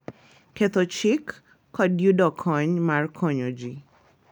Ketho chik, kod yudo kony mar konyo ji